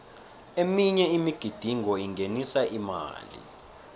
eminye imigidingo ingenisa imali